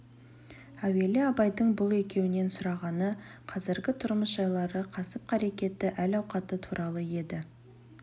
әуелі абайдың бұл екеуінен сұрағаны қазіргі тұрмыс жайлары кәсіп-қарекеті әл-ауқаты туралы еді